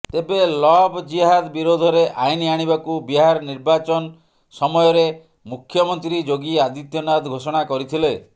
ତେବେ ଲଭ୍ ଜିହାଦ ବିରୋଧରେ ଆଇନ୍ ଆଣିବାକୁ ବିହାର ନିର୍ବାଚନ ସମୟରେ ମୁଖ୍ୟମନ୍ତ୍ରୀ ଯୋଗୀ ଆଦିତ୍ୟନାଥ ଘୋଷଣା କରିଥିଲେ